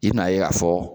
I bɛn'a ye k'a fɔ